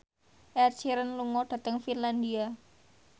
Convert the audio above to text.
Ed Sheeran lunga dhateng Finlandia